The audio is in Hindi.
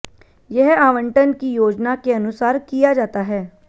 यह आवंटन की योजना के अनुसार किया जाता है